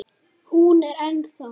Hún er ennþá.